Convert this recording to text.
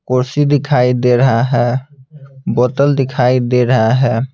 कुर्सी दिखाई दे रहा है बोतल दिखाई दे रहा है।